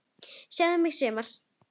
Sjáðu mig sumar!